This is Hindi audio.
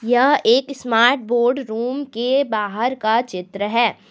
यह एक स्मार्ट बोर्ड रूम के बाहर का चित्र है।